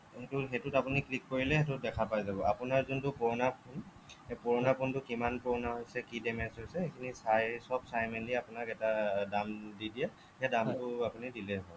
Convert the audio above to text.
সেইটোত আপুনি click কৰিলে সেইটো দেখা পাই যাব আপোনাৰ যিটো পুৰণা phone সেই পুৰণা phoneটো কিমান পুৰণা হৈছে কি damage হৈছে এইখিনি চাই চব চাই মেলি আপোনাক এটা দাম দি দিয়ে সেই দামটো আপুনি দিলেই হ'ল